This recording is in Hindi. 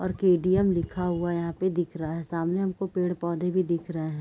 और के.डी.एम लिखा हुआ यहाँ पे दिख रहा है। सामने हमको पेड़-पौधे भी दिख रहे है।